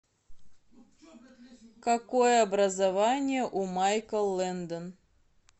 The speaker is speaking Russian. какое образование у майкл лэндон